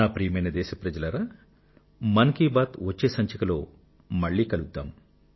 నా ప్రియమైన దేశ ప్రజలారా వచ్చే మన్ కీ బాత్ లో మళ్ళీ కలుద్దాం